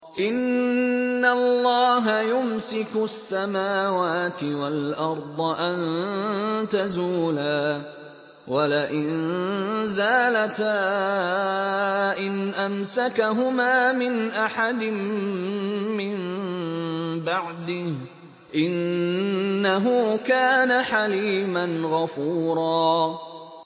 ۞ إِنَّ اللَّهَ يُمْسِكُ السَّمَاوَاتِ وَالْأَرْضَ أَن تَزُولَا ۚ وَلَئِن زَالَتَا إِنْ أَمْسَكَهُمَا مِنْ أَحَدٍ مِّن بَعْدِهِ ۚ إِنَّهُ كَانَ حَلِيمًا غَفُورًا